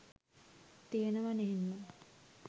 තියනව නේන්නං